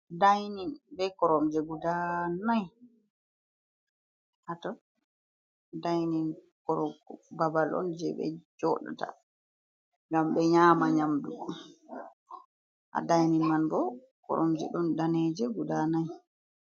Dainin be koromje guda nai haton dainin babal on je ɓe joɗata ngam ɓe nyama nyamdu ha dainin man bo koromje ɗon daneje guda nai.